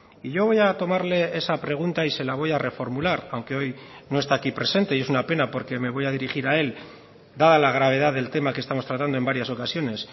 y yo voy a tomarle esa pregunta y se la voy a reformular aunque hoy no está aquí presente y es una pena porque me voy a dirigir a él dada la gravedad del tema que estamos tratando en varias ocasiones